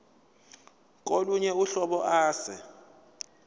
kolunye uhlobo ase